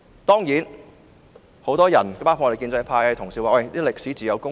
當然，很多人——包括建制派的同事——表示，歷史自有公論。